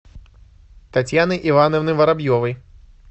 татьяны ивановны воробьевой